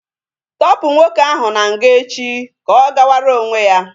Tọpu nwoke ahụ na nga echi ka ọ gawara onwe ya!